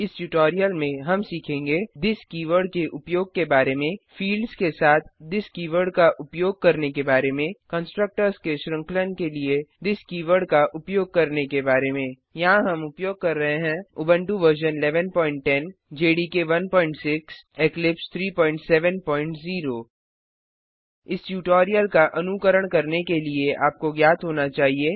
इस ट्यूटोरियल में हम सीखेंगे थिस कीवर्ड के उपयोग के बारे में फील्ड्स के साथ थिस कीवर्ड का उपयोग करने के बारे में कंस्ट्रक्टर्स के श्रृंखलन के लिए थिस कीवर्ड का उपयोग करने के बारे में यहाँ हम उपयोग कर रहे हैं उबंटू वर्जन 1110 जेडीके 16 इक्लिप्स 370 इस ट्यूटोरियल का अनुकरण करने के लिए आपको ज्ञात होना चाहिए